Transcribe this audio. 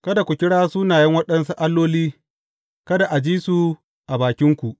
Kada ku kira sunaye waɗansu alloli; kada a ji su a bakinku.